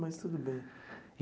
Mas tudo bem.